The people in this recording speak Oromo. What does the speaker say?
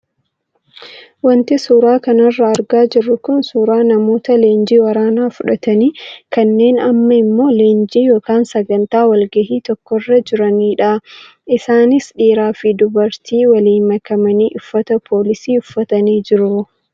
Wanti suuraa kanarraa argaa jirru kun suuraa namoota leenjii waraanaa fudhatanii kanneen amma immoo leenjii yookaan sagantaa walgahii tokkorra jiranidha. Isaanis dhiiraa fi dubartii waliin makamanii uffata poolisii uffatanii jiru.